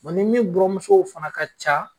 Bɔn ni min buranmusow fana ka ca